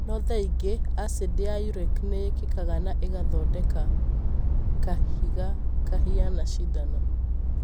No thaingĩ acidi ya uric nĩ yakĩkaga na ĩgathodeka kahiga kahiana cindano.